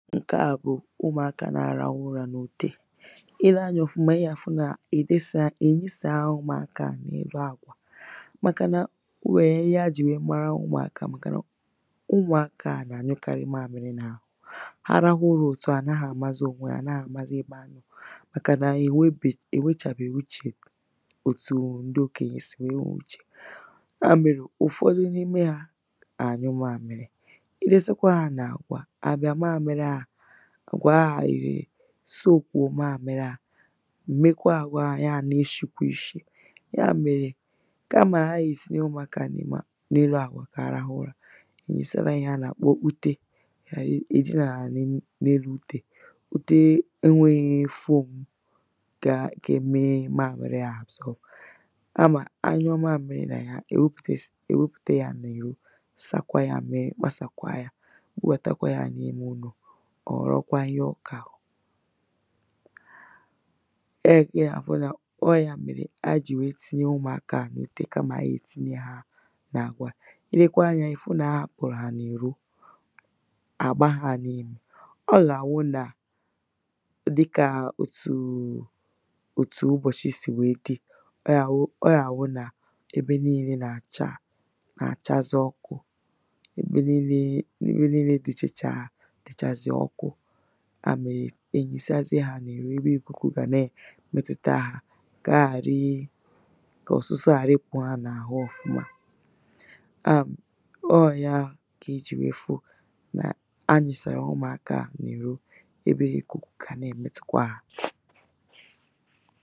ǹke à bụ̀ ụmụ̀akā nā-ārāhụ̄ ụrā n’ute i lee anyā ọ̀fụma ị gà-àfụ nà hà ènyịsāghā ụmụ̀akā à n’elu àkwà màkà nà o nwèrè ihe ha jì nwère mara ụmụ̀akā, màkà nà ụmụ̀akā à nà-ànyụkarị maāmị̄rị̄ n’àhụ ha rahụ ụrā òtu à hà naghị̄ àmazị ònwe hā, hà naghị̄ àmazị ebe ha nọ̀ màkà nà hà ènwebèghè hà ènwechàbèghè uchè òtù ndị okènyè sị̀ nwère nwe uchè ya mèrè ụ̀fọdụ n’ime hā nà-ànyụ maāmị̄rị̄ i dosekwa hā n’àkwà, ha bịa maāmị̄rị̄ ahụ̀ àkwà ahụ̀ èsoòkùo maāmị̄rị̄ āhụ̀ mekwa àkwà ahụ̀ ya nā-ēshìkwa ishì ya mèrè kamà ha gà-ènyesa ụmụ̀akā à n’elu àkwà ka ha rahụ ụrā hà ènyesara hā ihe ha nà-àkpọ utē hà dinàra n’elu n’elu utē ute enwēghị̄ foòmù ga ga-eme maāmị̄rị̄ ahụ̀ absorb kamà ha nyọ maāmị̄rị̄ nà ya hà ènwepùtesi ènwepùte yā n’ìrò sakwa yā mmirī gbasàkwa yā, bubàtakwa yā n’ime ụnọ̀ ọ̀ họ̀rọkwa ihe ọ kà wụ̀ ọ yà kà ɪ gà-afụ nà ọ wụ̀ ya mèrè ha jì nwère tinye ụmụ̀akā à n’ute kamà ha gà-èntinye hā n’àkwà i lekwa anyā ị̀ fụ nà ha hāpụ̀rụ̀ hà n’ìro hà àbaghā n’īmè, ọ gà-àwụ nà dịkà òtù ụbọ̀chị sì nwèe dị ọ gà-àwụ ọ gà-àwụ nà ebe niīlē nà-àcha nà-àchasị ọkụ̄ ebe niīlē ebe niīlē dị̀chàchà dị̀chàzị̀ ọkụ ya mèrè hà lìsazie hā n’ìro ebe ìkùkù gà na-èmetuta hā kà ha ghàri kà òsuso ghàra ịpụ̀ hà n’àhu ọ̀fụma ọ wụ̀ ya kà i jì nwère fụ nà ha lìsàrà ụmụ̀akā à n’ìro ebe ìkùkù gà na-èmetukwa hā